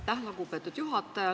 Aitäh, lugupeetud juhataja!